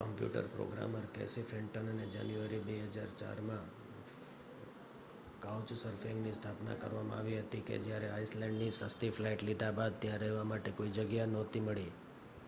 computer programmer Casey ફેન્ટનને January 2004માં કાઉચસર્ફિંગની સ્થાપના કરવામાં આવી હતી કે જ્યારે આઇસલેન્ડની સસ્તી ફ્લાઇટ લીધા બાદ ત્યાં રહેવા માટે કોઈ જગ્યા નહોતી મળી